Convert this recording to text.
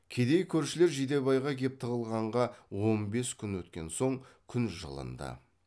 кедей көршілер жидебайға кеп тығылғанға он бес күн өткен соң күн жылынды